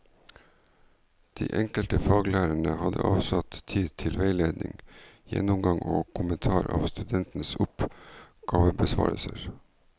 De enkelte faglærerne har avsatt tid til veiledning, gjennomgang og kommentar av studentenes oppgavebesvarelser.